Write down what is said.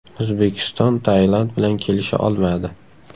O‘zbekiston Tailand bilan kelisha olmadi.